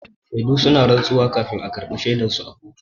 Shedu suna rantsuwa kafin a karɓa shaidan su a kotu.